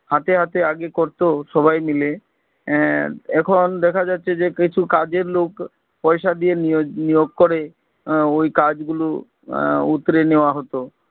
হাতে হাতে আগে করতো সবাই মিলে আহ এখন দেখা যাচ্ছে যে কিছু কাজের লোক পয়সা দিয়ে নিয়াজ নিয়োগ করে আহ ওই কাজ গুলো উতরে নেওয়া হতো